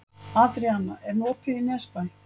Adríana, er opið í Nesbæ?